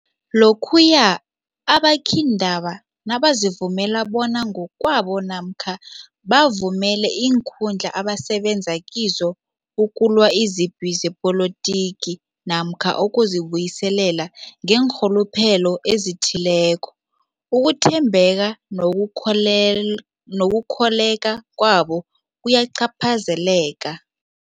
Lokhuya ababikiindaba nabazivumela bona ngokwabo namkha bavumele iinkundla abasebenza kizo ukulwa izipi zepolitiki namkha ukuzi buyiselela ngeenrhuluphelo ezithileko, ukuthembeka nokukholel nokukholweka kwabo kuyacaphazeleka.